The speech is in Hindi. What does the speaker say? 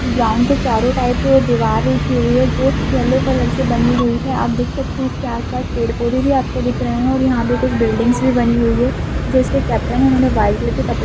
ग्राउन्ड के चारों टाइप जो दीवार उठी हुई है जो येलो कलर से बनी हुई है आप देख सकते हैं इसके आस-पास पेड़-पौधे भी आपको दिख रहे हैं और यहाँ पे कुछ बिल्डिंग्स भी बनी हुई हैं जो इसके केपटेन हैं उन्होंने व्हाइट कलर के कपड़े --